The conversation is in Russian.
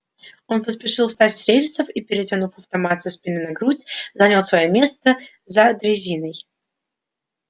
он поспешил встать с рельсов и перетянув автомат со спины на грудь занял своё место за дрезиной